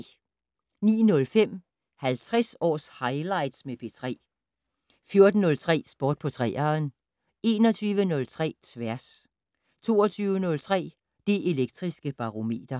09:05: 50 års highlights med P3 14:03: Sport på 3'eren 21:03: Tværs 22:03: Det Elektriske Barometer